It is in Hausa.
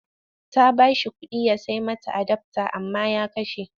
Ta ba shi kuɗi ya sai mata adafta amma ya kashe.